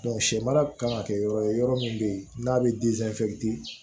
sɛ mara kan ka kɛ yɔrɔ ye yɔrɔ min bɛ ye n'a bɛ